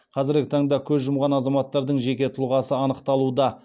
қазіргі таңда көз жұмған азаматтардың жеке тұлғасы анықталуда